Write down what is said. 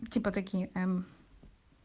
типо такие м